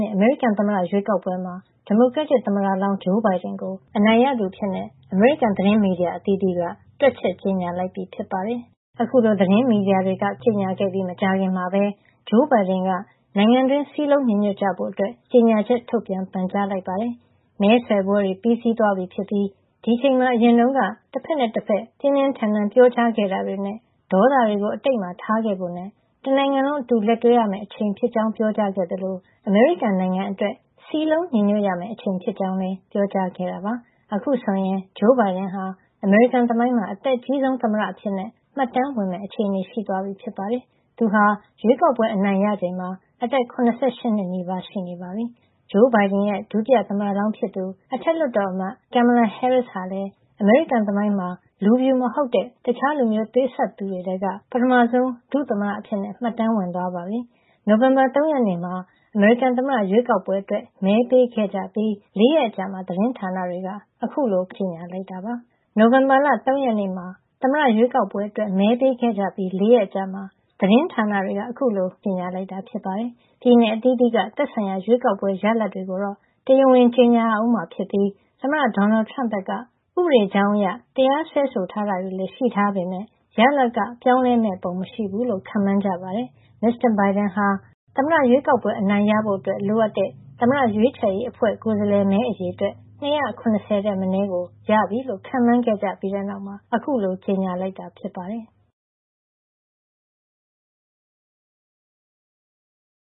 ှစ် အမေရိကန်သမ္မတရွေးကောက်ပွဲမှာ ဒီမိုကရက်သမ္မတလောင်း Joe Biden ကို အနိုင်ရသူအဖြစ် အမေရိကန် သတင်းမီဒီယာအသီးသီးက တွက်ချက် ကြေညာလိုက်ပြီ ဖြစ်ပါတယ်။ အခုလို သတင်းမီဒီယာတွေက ကြေညာခဲ့ပြီး မကြာခင်မှာပဲ Joe Biden က နိုင်ငံတွင်း စည်းလုံးညီညွတ်ကြဖို့ ကြေညာချက်ထုတ်ပြန် ပန်ကြားလိုက်ပါတယ်။ “မဲဆွယ်ပွဲတွေ ပြီးသွားပြီဖြစ်ပြီး ဒီအချိန်မှာ အရင်တုန်းက တဖက်နဲ့တဖက် ပြင်းပြင်းထန်ထန် ပြောကြားခဲ့တာတွေနဲ့ ဒေါသတွေကို အတိတ်မှာ ထားခဲ့ဖို့နဲ့ တနိုင်ငံလုံး အတူလက်တွဲရမယ့် အချိန်ဖြစ်ကြောင်း” ပြောကြားခဲ့သလို အမေရိကန်နိုင်ငံအတွက် စည်းလုံးညီညွတ်ရမယ့်အချိန် ဖြစ်ကြောင်းလည်း ပြောကြားခဲ့တာပါ။ အခုဆိုရင် Joe Biden ဟာ အမေရိကန်သမိုင်းမှာ အသက်အကြီးဆုံး သမ္မတအဖြစ် မှတ်တမ်းဝင်မယ့် အခြေအနေ ရှိသွားပြီဖြစ်ပါတယ်။ သူဟာ ရွေးကောက်ပွဲ အနိုင်ရချိန်မှာ အသက် ၇၈ နှစ်နီးပါး ရှိပါပြီ။ Joe Biden ရဲ့ ဒုတိယသမ္မတလောင်းဖြစ်သူ အထက်လွှတ်တော်အမတ် Kamala Harris ဟာလည်း အမေရိကန်သမိုင်းမှာ လူဖြူမဟုတ်တဲ့ တခြားလူမျိုးသွေးစပ်သူတွေထဲက ပထမဆုံး ဒုတိယသမ္မတအဖြစ် မှတ်တမ်းဝင်သွားပြီ ဖြစ်ပါတယ်။ နိုဝင်ဘာလ ၃ ရက်နေ့မှာ သမ္မတရွေးကောက်ပွဲအတွက် မဲပေးခဲ့ကြပြီး ၄ ရက်အကြာမှာ သတင်းဌာနတွေက အခုလို ခန့်မှန်းကြေညာလိုက်တာပါ။ ပြည်နယ်အသီးသီးက သက်ဆိုင်ရာ ရွေးကောက်ပွဲရလဒ်တွေကို တရားဝင် ကြေညာရဦးမှာဖြစ်ပြီး သမ္မတ Donald Trump ဘက်က ဥပဒေကြောင်းအရ တရားစွဲဆိုတာတွေလည်း ရှိထားပေမယ့် ရလဒ်က ပြောင်းလဲမယ့်ပုံ မရှိဘူးလို့ ခန့်မှန်းကြပါတယ်။ Mr. Biden ဟာ သမ္မတရွေးကောက်ပွဲ အနိုင်ရဖို့ လိုအပ်တဲ့ သမ္မတရွေးချယ်ရေးအဖွဲ့ ကိုယ်စားလှယ်မဲ အရေအတွက် ၂၇၀ ထက်မနည်းကို ရပြီလို့ ခန့်မှန်းကြပြီးတဲ့နောက် အခုလို ကြေညာလိုက်တာ ဖြစ်ပါတယ်။